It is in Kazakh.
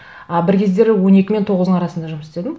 а бір кездері он екі мен тоғыздың арасында жұмыс істедім